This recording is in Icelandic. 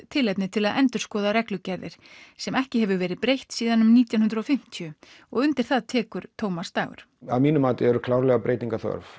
tilefni til að endurskoða reglugerðir sem ekki hefur verið breytt síðan nítján hundruð og fimmtíu og undir það tekur Tómas Dagur að mínu mati eru breytinga þörf